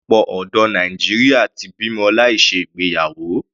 Ọ̀pọ̀lọpọ̀ ọ̀dọ́ Nàìjíríà ti bímọ láì ṣe ìgbéyàwó.